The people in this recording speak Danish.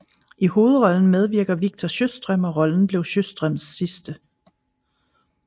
I hovedrollen medvirker Victor Sjöström og rollen blev Sjöströms sidste